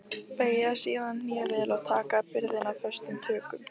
Beygja síðan hné vel og taka byrðina föstum tökum.